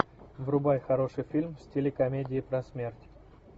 врубай хороший фильм в стиле комедии про смерть